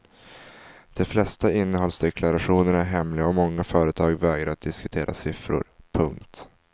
De flesta innehållsdeklarationer är hemliga och många företag vägrar att diskutera siffror. punkt